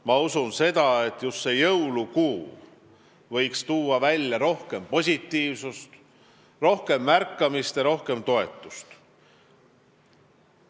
Ma usun seda, et just jõulukuu võiks kaasa tuua rohkem positiivsust, rohkem märkamist ja rohkem toetust.